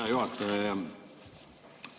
Hea juhataja!